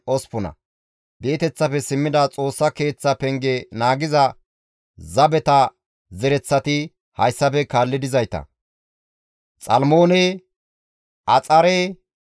Di7eteththafe simmida Xoossa Keeththa oosanchchata zereththati hayssafe kaalli dizayta; Xiha, Hasupha, Xaba7oote,